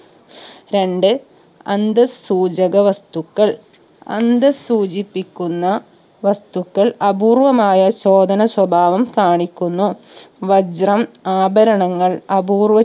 രണ്ട് അന്തസ് സൂചക വസ്തുക്കൾ അന്തസ് സൂചിപ്പിക്കുന്ന വസ്തുക്കൾ അപൂർവ്വമായ ചോദന സ്വഭാവം കാണിക്കുന്നു വജ്രം ആഭരണങ്ങൾ അപൂർവ്വ